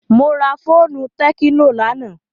Mo ra fóònù tẹ́kínò lánàá.